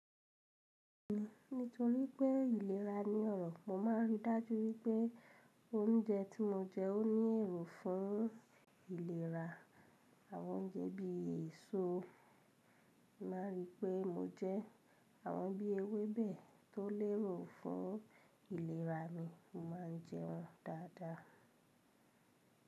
Nítorí pé ìlera ni ọ̀rọ̀, mo máa ń rí i dájú wípé oúnjẹ tí mo jẹ ò ní èrò fún ìlera. Àwọn oúnjẹ bí èso, máa rí i pé mo jẹ. Àwọn bí ewébẹ̀ tó lérò fún ìlera mi, mo máa ń jẹ wọ́n dáadáa.